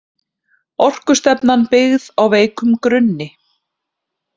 Orkustefnan byggð á veikum grunni